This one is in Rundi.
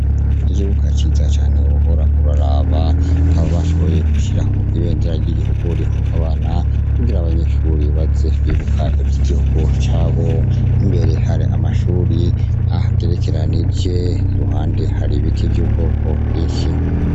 Ikibuga ciza cane wohora uraraba, aho bashoboye gushiraho ibendera ry'igihugu rihungabana, kugira abanyeshuri baze bibuka ivy'igihugu cabo. Imbere hari amashuri ahagerekeranije, ruhande hari ibiti vy'ubwoko bwinshi.